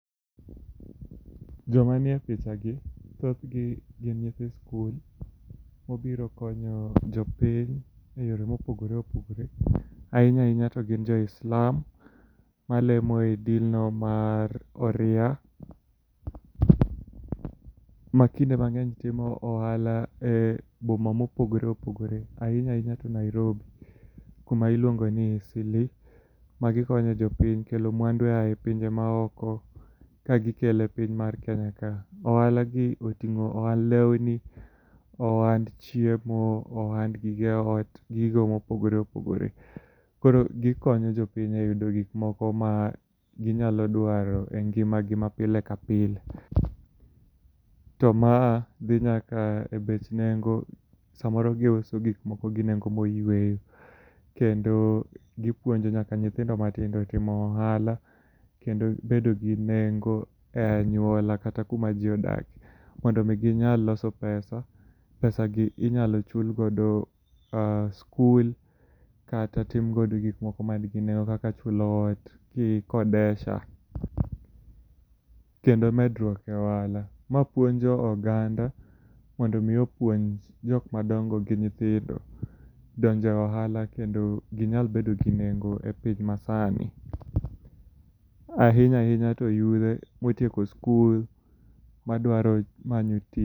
Joma nie picha ni thoth gi gin nyithi skul mobiro konyo jopiny eyore mopogore opogore. Ahinya ahinya to gin jo islam malemo e din no mar oria. Makinde mang'eny timo ohala e boma mopogore opogore ahinya ahinya to Nairobi kuma iluongo ni Easleigh. Magikonyo jopiny kelo mwandu oae pinje ma oko ka gikelo e piny mar Kenya ka. Ohala gi oting'o ohand lewni, ohand chiemo, ohand gige ot, gigo mopogore opogore. Koro gikonyo jopiny eyudo gik moko ma ginyalo dwaro en nginga gi mapile ka pile. To ma dhi nyaka e bech nengo samoro gi uso gik moko gi nengo moyueyo. Kendo gipuonjo nyaka nyithindo matindo timo ohala kendo bedo gi nengo e anyuola kata kuma ji odakie mondi mi ginyal loso pesa. Pesa gi inyuyalo chulgodo skul kata timogodo gikmoko man gi nengo kaka chulo ot kikodesha kendo medruok e ohala. Ma puonjpo oganda mondo mi opuonj jok madongo gi nyithindo donjo e ohala kendo ginyal bedo gi nendo epiny masana ahinya ahinya to yudhe motieko skul madwaro manyo tich.